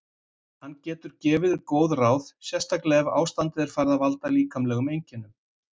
Hann getur gefið góð ráð, sérstaklega ef ástandið er farið að valda líkamlegum einkennum.